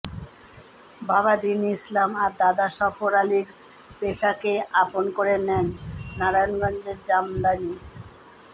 বাবা দ্বীন ইসলাম আর দাদা সফর আলীর পেশাকেই আপন করে নেন নারায়ণগঞ্জের জামদানী